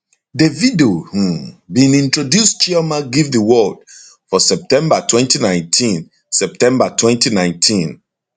davido um bin introduce chioma give di world for september 2019 september 2019